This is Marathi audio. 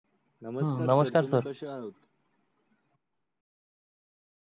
नमस्कार sir